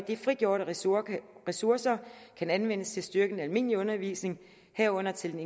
de frigjorte ressourcer ressourcer kan anvendes til at styrke den almindelige undervisning herunder til